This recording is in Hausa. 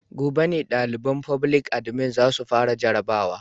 Gobe ne daliban foblik adimin za su fara jarrabawar.